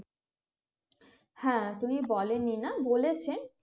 হ্যাঁ তুমি বলেনি না বলেছে